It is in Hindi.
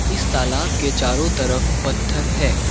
इस तालाब के चारों तरफ पत्थर है।